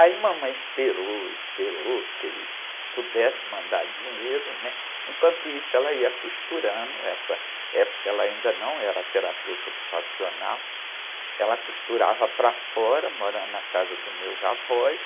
Aí mamãe esperou, esperou que ele pudesse mandar dinheiro, né? Enquanto isso ela ia costurando, essa época ela ainda não era terapeuta ocupacional, ela costurava para fora, morando na casa dos meus avós,